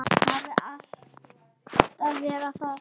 Hafa alltaf verið það.